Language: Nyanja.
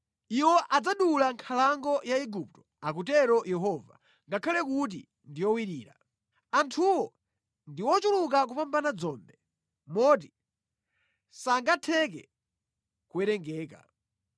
Iwo adzadula nkhalango ya Igupto,” akutero Yehova, “ngakhale kuti ndi yowirira. Anthuwo ndi ochuluka kupambana dzombe, moti sangatheke kuwerengeka.